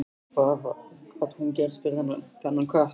Hvað gat hún gert fyrir þennan kött?